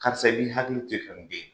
Karisa bi hakili